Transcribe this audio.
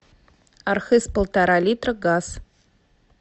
архыз полтора литра газ